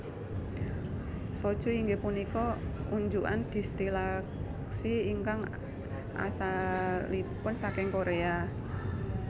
Soju inggih punika unjukan distilasi ingkang asalipun saking Korea